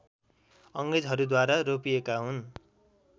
अङ्ग्रेजहरूद्वारा रोपिएका हुन्